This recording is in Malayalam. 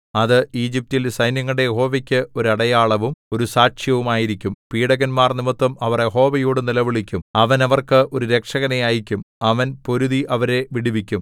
അത് ഈജിപ്റ്റിൽ സൈന്യങ്ങളുടെ യഹോവയ്ക്ക് ഒരു അടയാളവും ഒരു സാക്ഷ്യവും ആയിരിക്കും പീഡകന്മാർ നിമിത്തം അവർ യഹോവയോടു നിലവിളിക്കും അവൻ അവർക്ക് ഒരു രക്ഷകനെ അയയ്ക്കും അവൻ പൊരുതി അവരെ വിടുവിക്കും